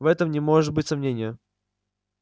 в этом не может быть сомнения